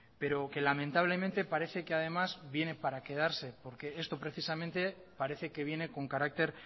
pero que lamentablemente parece que además viene para quedarse porque esto precisamente parece que viene con carácter